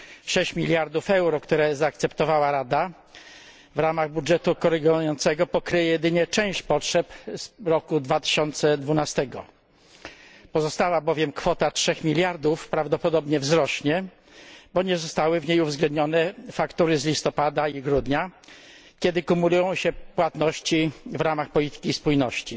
6 miliardów euro, które zaakceptowała Rada w ramach budżetu korygującego, pokryje jedynie część potrzeb z roku 2012, bowiem pozostała kwota 3 miliardów prawdopodobnie wzrośnie, bo nie zostały w niej uwzględnione faktury z listopada i grudnia, kiedy kumulują się płatności w ramach polityki spójności.